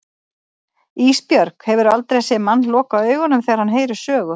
Ísbjörg, hefurðu aldrei séð mann loka augunum þegar hann heyrir sögu?